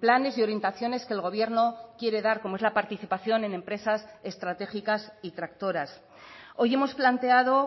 planes y orientaciones que el gobierno quiere dar como es la participación en empresas estratégicas y tractoras hoy hemos planteado